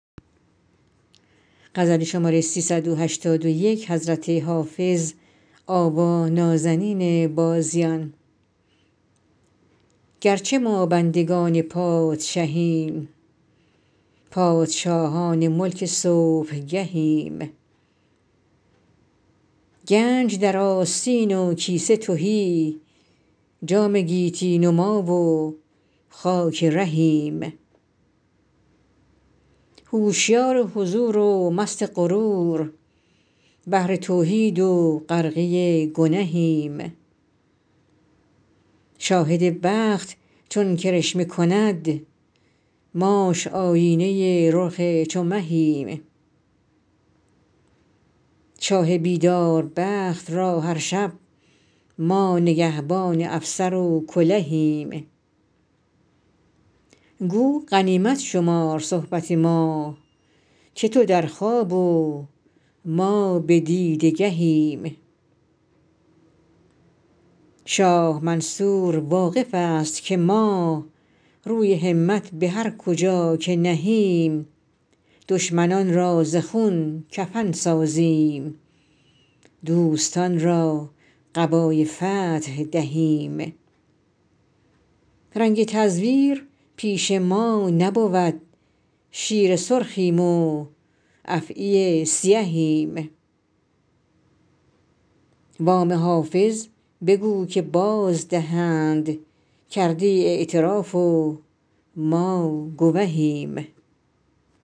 گرچه ما بندگان پادشهیم پادشاهان ملک صبحگهیم گنج در آستین و کیسه تهی جام گیتی نما و خاک رهیم هوشیار حضور و مست غرور بحر توحید و غرقه گنهیم شاهد بخت چون کرشمه کند ماش آیینه رخ چو مهیم شاه بیدار بخت را هر شب ما نگهبان افسر و کلهیم گو غنیمت شمار صحبت ما که تو در خواب و ما به دیده گهیم شاه منصور واقف است که ما روی همت به هر کجا که نهیم دشمنان را ز خون کفن سازیم دوستان را قبای فتح دهیم رنگ تزویر پیش ما نبود شیر سرخیم و افعی سیهیم وام حافظ بگو که بازدهند کرده ای اعتراف و ما گوهیم